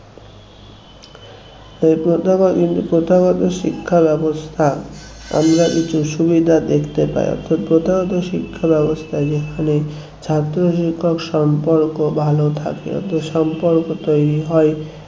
এই প্রথাগত কিন্তু প্রথাগত শিক্ষা ব্যবস্থা আমরা কিছু সুবিধা দেখতে পায় অথচ প্রথাগত শিক্ষা ব্যবস্থা যেখানে ছাত্র শিক্ষক সম্পর্ক ভালো থাকে অত সম্পর্ক তৈরি হয়